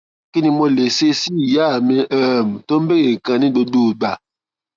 kí ni mo lè ṣe sí ìyá mi um tó ń bèèrè nǹkan ní gbogbo ìgbà